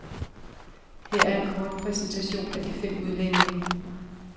Her er en kort præsentation af de fem udlændinge.